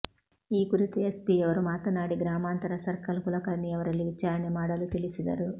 ಈ ಕುರಿತು ಎಸ್ಪಿಯವರು ಮಾತನಾಡಿ ಗ್ರಾಮಾಂತರ ಸರ್ಕಲ್ ಕುಲಕರ್ಣಿಯವರಲ್ಲಿ ವಿಚಾರಣೆ ಮಾಡಲು ತಿಳಿಸಿದರು